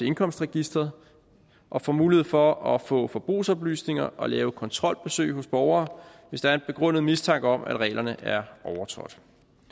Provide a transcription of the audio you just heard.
indkomstregisteret og får mulighed for at få forbrugsoplysninger og lave kontrolbesøg hos borgere hvis der er en begrundet mistanke om at reglerne er overtrådt